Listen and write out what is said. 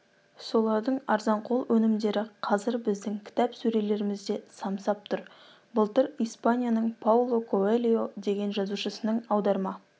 солардың арзанқол өнімдері қазір біздің кітап сөрелерімізде самсап тұр былтыр испанияның пауло коэльо деген жазушысының аударма